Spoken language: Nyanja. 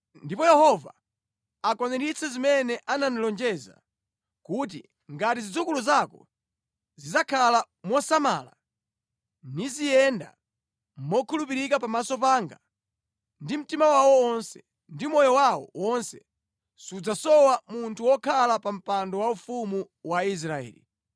Ndipo Yehova akwaniritse zimene anandilonjeza kuti, ‘Ngati zidzukulu zako zidzakhala mosamala, niziyenda mokhulupirika pamaso panga ndi mtima wawo wonse ndi moyo wawo wonse, sudzasowa munthu wokhala pa mpando waufumu wa Israeli.’